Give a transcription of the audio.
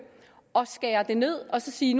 og skære det ned og sige